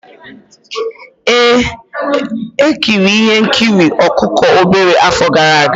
Ee, m ekiri ihe nkiri ọkụkọ obere afọ gara aga.